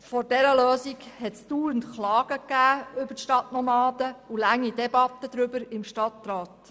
Vor dieser Lösung hat es dauernd Klagen über die Stadtnomaden gegeben und lange Debatten darüber im Stadtrat.